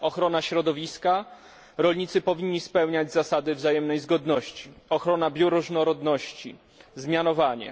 ochrona środowiska rolnicy powinni spełniać zasady wzajemnej zgodności ochrona bioróżnorodności zmianowanie